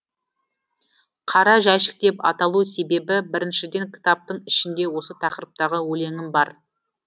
қара жәшік деп аталу себебі біріншіден кітаптың ішінде осы тақырыптағы өлеңім бар